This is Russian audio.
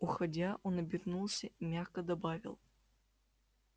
уходя он обернулся и мягко добавил